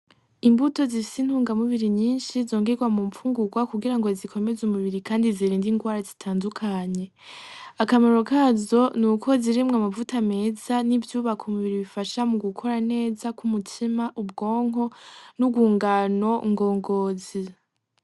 Imbuto zifise intunga mubiri nyinshi, zongegwa mumfungugwa kugira ngo zikomeze umubiri kandi zirinde ingwara zitandukanye akamaro kazo nuko zirimwo amavuta meza n'ivyubaka umubiri bifasha mu gukora neza k'umutima, ubwonko n'ubwungano ngongozi.